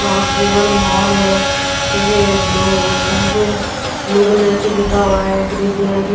cross river mall है ठीक है ये ब्लू इसमें से ब्लू कलर से लिखा हुआ है ग्री कलर की --